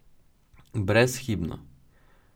Brezhibno.